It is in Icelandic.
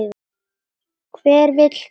Hver vill það?